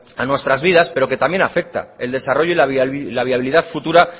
a nuestras vidas pero que también afecta el desarrollo y la viabilidad futura